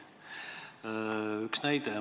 Üks näide.